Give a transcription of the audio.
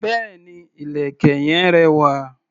Béèni, ìlẹ̀kẹ̀ yen rẹwà.